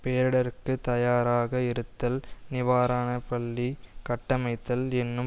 பேரிடருக்கு தயாராக இருத்தல் நிவாரண பள்ளி கட்டமைத்தல் என்னும்